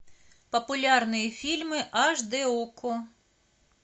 популярные фильмы аш дэ окко